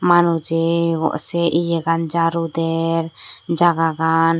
manujey sey ye gan jaaru der jagah gan.